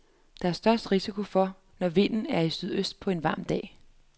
Der er størst risiko for, når vinden er i sydøst på en varm dag.